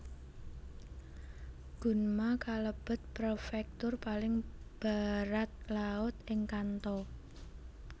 Gunma kalebet prefektur paling baratlaut ing Kanto